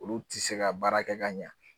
Olu ti se ka baara kɛ ka ɲa